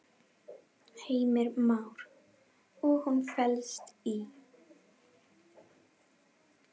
Heimir Már: Og hún felst í?